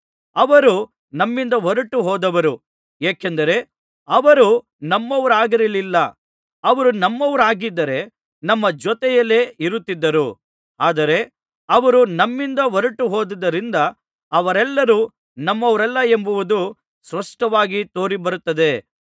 ಅವರು ನಮ್ಮಿಂದ ಹೊರಟುಹೋದವರು ಏಕೆಂದರೆ ಅವರು ನಮ್ಮವರಾಗಿರಲಿಲ್ಲ ಅವರು ನಮ್ಮವರಾಗಿದ್ದರೆ ನಮ್ಮ ಜೊತೆಯಲ್ಲೇ ಇರುತ್ತಿದ್ದರು ಆದರೆ ಅವರು ನಮ್ಮಿಂದ ಹೊರಟುಹೋದುದರಿಂದ ಅವರೆಲ್ಲರೂ ನಮ್ಮವರಲ್ಲವೆಂಬುದು ಸ್ಪಷ್ಟವಾಗಿ ತೋರಿಬಂದಿದೆ